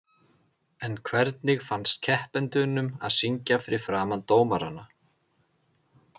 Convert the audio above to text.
En hvernig fannst keppendunum að syngja fyrir framan dómarana?